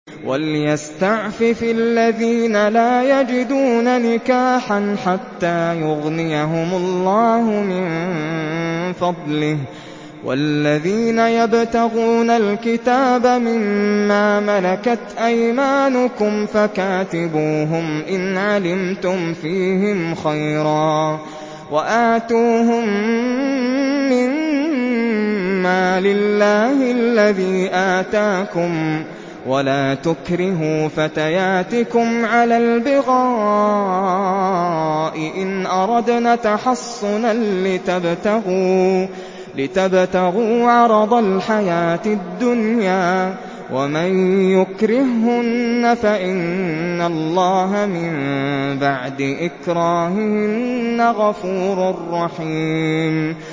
وَلْيَسْتَعْفِفِ الَّذِينَ لَا يَجِدُونَ نِكَاحًا حَتَّىٰ يُغْنِيَهُمُ اللَّهُ مِن فَضْلِهِ ۗ وَالَّذِينَ يَبْتَغُونَ الْكِتَابَ مِمَّا مَلَكَتْ أَيْمَانُكُمْ فَكَاتِبُوهُمْ إِنْ عَلِمْتُمْ فِيهِمْ خَيْرًا ۖ وَآتُوهُم مِّن مَّالِ اللَّهِ الَّذِي آتَاكُمْ ۚ وَلَا تُكْرِهُوا فَتَيَاتِكُمْ عَلَى الْبِغَاءِ إِنْ أَرَدْنَ تَحَصُّنًا لِّتَبْتَغُوا عَرَضَ الْحَيَاةِ الدُّنْيَا ۚ وَمَن يُكْرِههُّنَّ فَإِنَّ اللَّهَ مِن بَعْدِ إِكْرَاهِهِنَّ غَفُورٌ رَّحِيمٌ